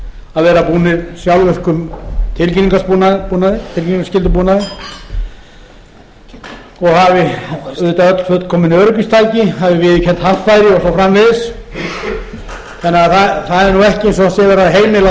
að vera búnir sjálfvirkum tilkynningarskyldubúnaði og hafi auðvitað öll fullkomin öryggistæki hafi viðurkennd haffæri og svo framvegis þannig að það er ekki verið